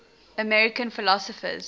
american philosophers